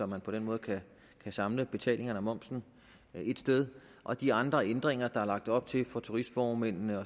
man på den måde kan samle betalingerne og momsen et sted og de andre ændringer der er lagt op til af turistformændene